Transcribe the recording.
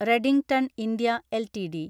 Redington India LTD